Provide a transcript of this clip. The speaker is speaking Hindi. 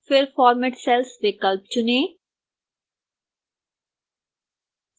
फिर format cells विकल्प चुनें